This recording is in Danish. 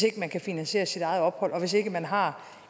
ikke kan finansiere sit eget ophold og hvis man ikke har